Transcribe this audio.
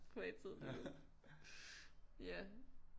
Privattid lige nu ja